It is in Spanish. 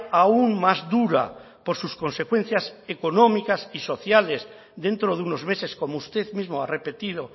aún más dura por sus consecuencias económicas y sociales dentro de unos meses como usted mismo ha repetido